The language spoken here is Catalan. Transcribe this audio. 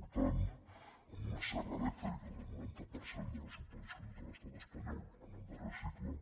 important amb una serra elèctrica del noranta per cent de les subvencions de l’estat espanyol en el darrer cicle